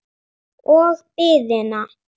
Og biðina.